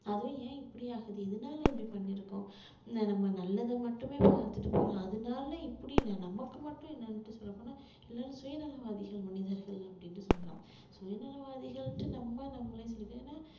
அதுவும் ஏன் இப்படி ஆகுது இதனால இப்படி பண்ணியிருக்கோம் இந்த நம்ம நல்லதை மட்டுமே பார்த்துட்டு அதனால இப்படி என்ன நமக்கு மட்டும் என்னன்னுட்டு சொல்லப் போனா எல்லாரும் சுயநலவாதிகள் மனிதர்கள் அப்படின்னு சொல்லலாம் சுயநலவாதிகள்ன்னுட்டு நம்ம நம்மளே